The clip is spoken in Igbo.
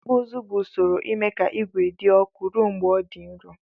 Ikpụ ụzụ bu usoro ime ka igwe di ọkụ rụọ mgbe ọ di nrọ.